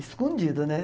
Escondido, né?